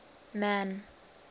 man